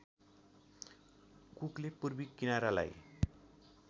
कुकले पूर्वी किनारालाई